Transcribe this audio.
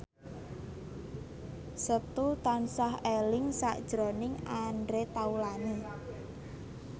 Setu tansah eling sakjroning Andre Taulany